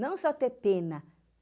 Não só ter pena.